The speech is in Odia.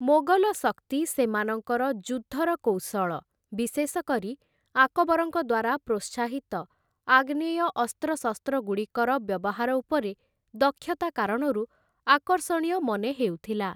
ମୋଗଲ ଶକ୍ତି ସେମାନଙ୍କର ଯୁଦ୍ଧର କୌଶଳ, ବିଶେଷ କରି ଆକବରଙ୍କ ଦ୍ୱାରା ପ୍ରୋତ୍ସାହିତ ଆଗ୍ନେୟ ଅସ୍ତ୍ରଶସ୍ତ୍ରଗୁଡ଼ିକର ବ୍ୟବହାର ଉପରେ ଦକ୍ଷତା କାରଣରୁ ଆକର୍ଷଣୀୟ ମନେ ହେଉଥିଲା ।